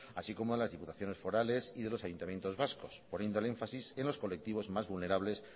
así como las diputaciones forales y de los ayuntamientos vascos poniendo el énfasis en los colectivos más vulnerables